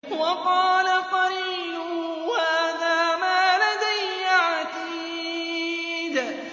وَقَالَ قَرِينُهُ هَٰذَا مَا لَدَيَّ عَتِيدٌ